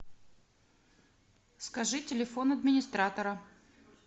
скажи телефон администратора